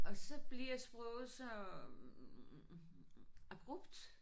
Og så bliver sproget så øh abrupt